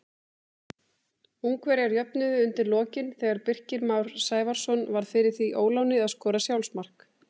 Ungverjar jöfnuðu undir lokin þegar Birkir Már Sævarsson varð fyrir því óláni að skora sjálfsmark.